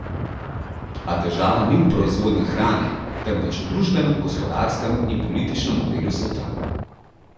A težava ni v proizvodnji hrane, temveč v družbenem, gospodarskem in političnem modelu sveta.